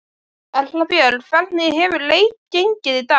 Erla Björg: Hvernig hefur leit gengið í dag?